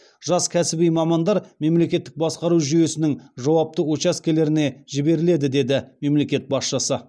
жас кәсіби мамандар мемлекеттік басқару жүйесінің жауапты учаскелеріне жіберіледі деді мемлекет басшысы